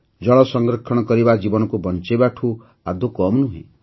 ଜଳ ସଂରକ୍ଷଣ କରିବା ଜୀବନକୁ ବଞ୍ଚାଇବାଠୁ ଆଦୌ କମ୍ ନୁହେଁ